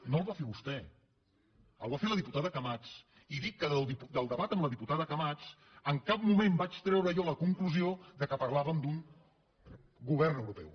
no el va fer vostè el va fer la diputada camats i dic que del debat amb la diputada camats en cap moment vaig treure jo la conclusió que parlàvem d’un govern europeu